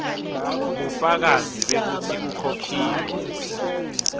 bufakazi bekutsi ukhokhile